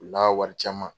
U la wari caman